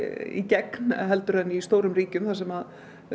í gegn heldur en í stórum ríkjum þar sem